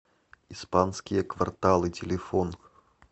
испанские кварталы телефон